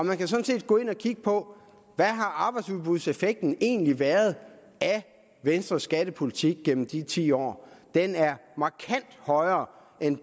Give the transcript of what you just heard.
man kan sådan set gå ind og kigge på hvad arbejdsudbudseffekten egentlig har været af venstres skattepolitik gennem de ti år den er markant højere end